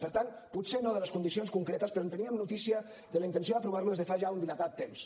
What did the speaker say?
per tant potser no de les condicions concretes però en teníem notícia de la intenció d’aprovar lo des de fa ja un dilatat temps